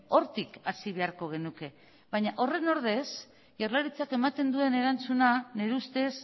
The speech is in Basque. hortik hasi beharko genuke baina horren ordez jaurlaritzak ematen duen erantzuna nire ustez